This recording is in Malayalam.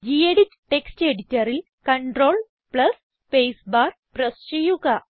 ഗെഡിറ്റ് ടെക്സ്റ്റ് എഡിറ്ററിൽ CTRL സ്പേസ് ബാർ പ്രസ് ചെയ്യുക